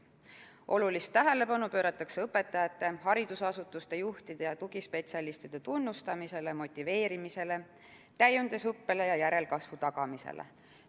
Olulist tähelepanu pööratakse õpetajate, haridusasutuste juhtide ja tugispetsialistide tunnustamisele, motiveerimisele, täiendusõppele ja järelkasvu tagamisele.